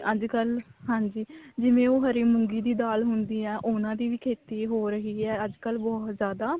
ਅੱਜਕਲ ਹਾਂਜੀ ਜਿਵੇਂ ਉਹ ਹਰੀ ਮੂੰਗੀ ਦੀ ਦਾਲ ਹੁੰਦੀ ਹੈ ਉਹਨਾ ਦੀ ਵੀ ਖੇਤੀ ਹੋ ਰਹੀ ਹੈ ਅੱਜਕਲ ਬਹੁਤ ਜਿਆਦਾ